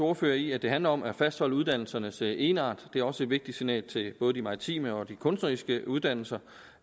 ordfører i at det handler om at fastholde uddannelsernes egenart det er også et vigtigt signal til både de maritime og de kunstneriske uddannelser